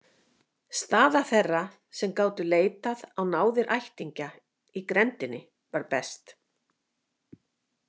Staða þeirra sem gátu leitað á náðir ættingja í grenndinni var best.